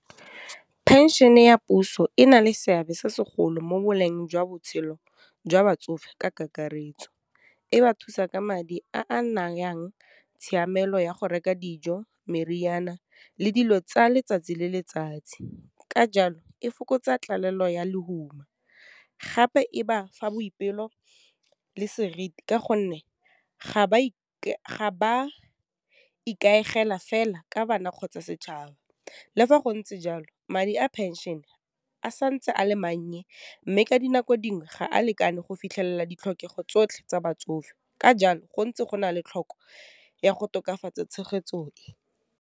Phenšene ya puso e na le seabe se segolo mo boleng jwa botshelo jwa batsofe ka kakaretso, e ba thusa ka madi a a tshiamelo ya go reka dijo, meriana le dilo tsa letsatsi le letsatsi, ka jalo, e fokotsa tlalello ya lehuma, gape e ba fa boipelo, le seriti ka gonne ga e ga ba ikaegela fela ka bana kgotsa setšhaba. Le fa gontse jalo, madi a phenšene a santse a mannye, mme ka dinako dingwe ga a lekane go fitlhelela ditlhokego tsotlhe tsa batsofe, ka jalo go ntse go na le tlhoko ya go tokafatsa tshegetso e.